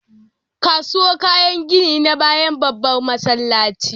Kasuwar kayan gini na bayan babban masallaci